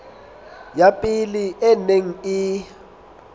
ya pele e neng e